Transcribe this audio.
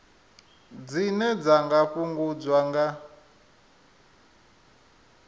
dzine dza nga fhungudzwa nga